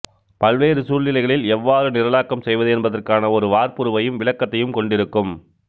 பல்வேறு சூழ்நிலைகளில் எவ்வாறு நிரலாக்கம் செய்வது என்பதற்கான ஒரு வார்ப்புருவையும் விளக்கத்தையும் கொண்டிருக்கும்